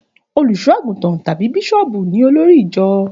Òlúṣọàgútàn tàbí Bíṣòbú ní òlòrí ìjọ